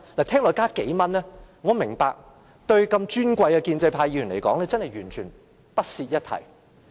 只增加幾元，對尊貴的建制派議員來說，完全不屑一提。